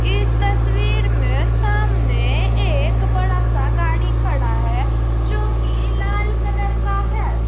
इस तस्वीर में सामने एक बड़ा सा गाड़ी खड़ा है जो की लाल कलर का है।